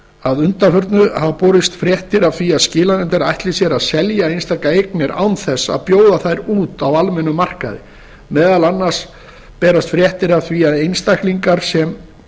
að undanförnu hafa borist fréttir af því að skilanefndir ætli sér að selja einstakar eignir án þess að bjóða þær út á almennum markaði meðal annars berast fréttir af því að einstaklingar sem